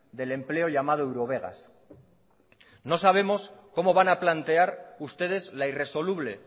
del empleo llamado eurovegas no sabemos cómo van a plantear ustedes la irresoluble